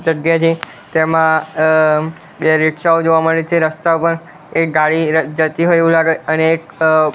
જગ્યા છે તેમા અ બે રિક્ષાઓ જોવા મળે છે રસ્તા પર એક ગાડી જતી હોય એવુ લાગે અને એક અ--